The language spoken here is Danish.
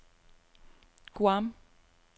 Guam